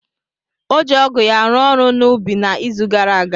O ji ọgụ ya rụọ ọrụ na ubi na izu gara aga.